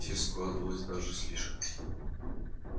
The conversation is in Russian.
всё складывалось даже слишком